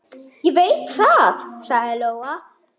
Ég veit það, sagði Lóa.